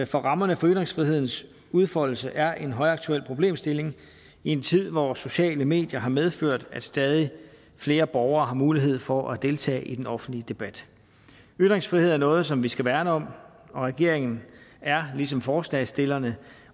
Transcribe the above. for rammerne for ytringsfrihedens udfoldelse er en højaktuel problemstilling i en tid hvor sociale medier har medført at stadig flere borgere har mulighed for at deltage i den offentlige debat ytringsfrihed er noget som vi skal værne om og regeringen er ligesom forslagsstillerne